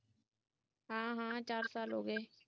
ਹਾਂ ਹਾਂ ਚਾਰ ਸਾਲ ਹੋ ਗਏ